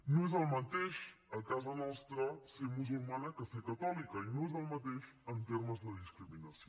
no és el mateix a casa nostra ser musulmana que ser catòlica i no és el mateix en termes de discriminació